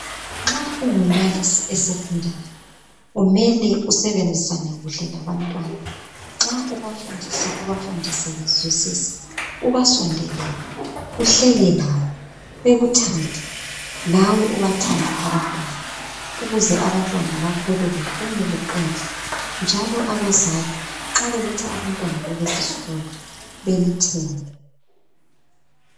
Nxa ungumbalisi esecondary kumele usebenzisane kahle labantwana nxa ubafundisa ubafundise bezwisise ubasondelele uhleke labo bekuthande lawe ubathande abantwana ukuze abantwana bakho babelempumela enhle njalo abazali nxa beletha abantwana babo kulesisikolo belithembe